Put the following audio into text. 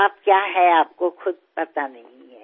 आप क्या हैं आपको ख़ुद पता नहीं है